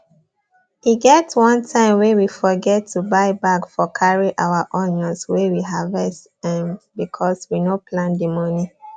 e get one time wey we forget to buy bag for carry our onions wey we harvest um bcos we no plan the moni